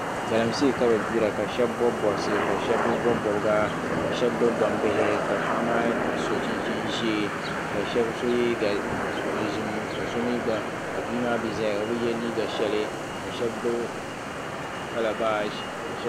Galamse kabigbira. kasheb bob bobsi ka shab bi bɔbi bobga. kasheb gbibi gbambihi ka paɣ' maa so chin chin zee ka shab so dozim kasomi gba. kabi imaa mi zaya obi ye liiga shɛli ka shab gbibi kalabashi.